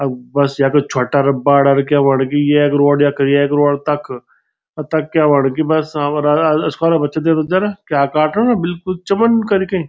अ बस यख छुट्टा अर बड़ा क्या होंड़ कि येक रोड़ यख एक रोड तख अ तख क्य होंड़ कि बस हमरा स्कूला बच्चा क्या काटन बिलकुल चमन कैरिके।